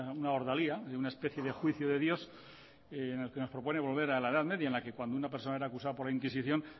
una ordalía una especie de juicio de dios en el que nos propone volver a la edad media en la que cuando una personas era acusada por la inquisición